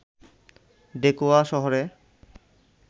ডেকোয়া শহরে